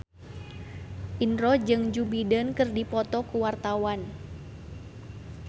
Indro jeung Joe Biden keur dipoto ku wartawan